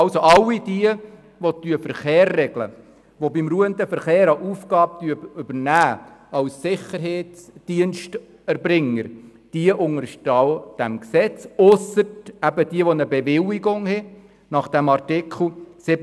Alle Sicherheitsdiensterbringer, die den Verkehr regeln oder beim ruhenden Verkehr eine Aufgabe übernehmen, unterstehen diesem Gesetz ausser denjenigen, die gemäss Artikel 67 Absatz 3 eine Bewilligung haben.